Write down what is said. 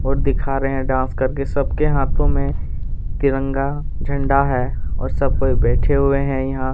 और दिखा रहे है डांस करके सबके हाथो में तिरंगा झंडा है और सब कोई बैठे हुए है यहाँ--